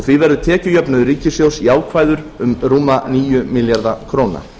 því verður tekjujöfnuður ríkissjóðs jákvæður um rúma níu milljarða króna